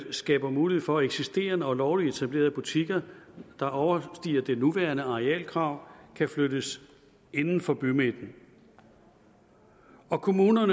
skaber mulighed for at eksisterende og lovligt etablerede butikker der overstiger det nuværende arealkrav kan flyttes inden for bymidten og kommuner